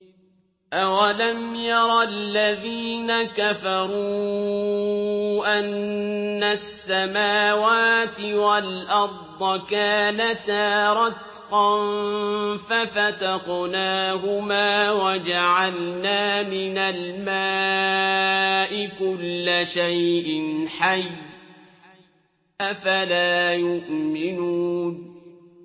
أَوَلَمْ يَرَ الَّذِينَ كَفَرُوا أَنَّ السَّمَاوَاتِ وَالْأَرْضَ كَانَتَا رَتْقًا فَفَتَقْنَاهُمَا ۖ وَجَعَلْنَا مِنَ الْمَاءِ كُلَّ شَيْءٍ حَيٍّ ۖ أَفَلَا يُؤْمِنُونَ